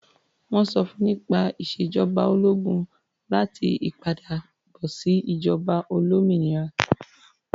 Wọ́n sọ fún nípa ìṣèjọba ológun àti ìpadàbọ̀sí ìjọba olómìnira.